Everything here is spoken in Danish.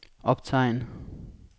optegn